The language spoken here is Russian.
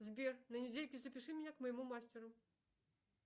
сбер на недельке запиши меня к моему мастеру